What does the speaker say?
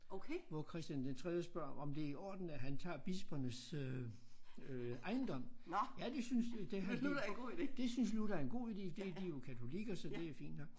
Hvor Christian den tredje spørger om det i orden at han tager bispernes øh øh ejendom. Ja det synes øh det han helt det synes Luther er en god ide det de jo katolikker så det er fint nok